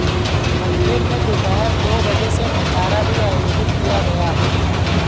मंदिर में दोपहर दो बजे से भंडारा भी आयोजित किया गया